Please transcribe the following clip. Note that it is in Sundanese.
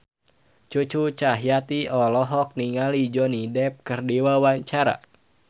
Cucu Cahyati olohok ningali Johnny Depp keur diwawancara